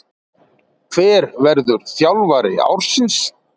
Hver verður þjálfari ársins